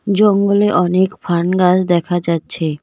জঙ্গলে অনেক fern grass দেখা যাচ্ছে।